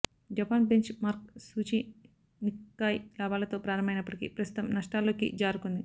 Japan benchmark సూచీ Nikkei లాభాలతో ప్రారంభమైనప్పటికీ ప్రస్తుతం నష్టాల్లోకి జారుకుంది